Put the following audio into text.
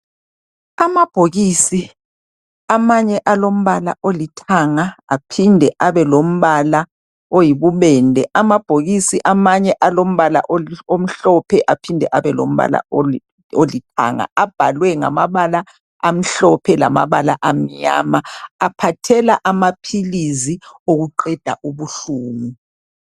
Amabhokisi amanye alombala olithanga aphinde abe lombala oyibubende amabhokisi amanye alombala omhlophe aphinde abe lombala olithanga abhalwe ngamabala amhlophe lamabala amnyama aphathela amaphilizi okuqeda ubuhlungu.